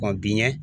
biɲɛ